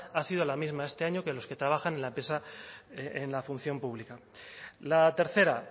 ha sido la misma este año que los que trabajan en la empresa en la función pública la tercera